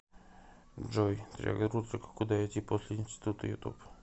джой триагрутрика куда идти после института ютуб